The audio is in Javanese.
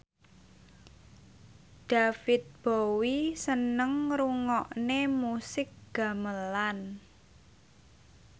David Bowie seneng ngrungokne musik gamelan